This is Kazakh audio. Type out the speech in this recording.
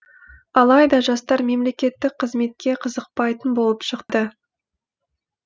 алайда жастар мемлекеттік қызметке қызықпайтын болып шықты